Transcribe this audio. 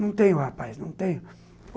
Não tenho, rapaz, não tenho.